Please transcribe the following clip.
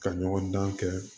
Ka ɲɔgɔndan kɛ